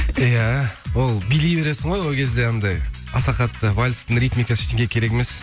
иә ол билей бересін ғой ол кезде анандай аса қатты вальс ритмикасы ештеңе керек емес